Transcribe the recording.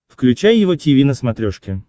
включай его тиви на смотрешке